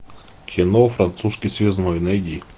кино французский связной найди